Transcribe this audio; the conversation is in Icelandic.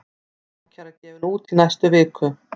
Ákæra gefin út í næstu viku